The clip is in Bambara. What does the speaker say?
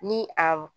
Ni a